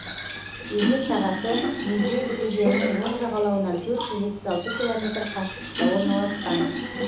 өзен сағасы мезень өзенінің оң жағалауынан төрт жүз жетпіс алты километр қашықтықта орналасқан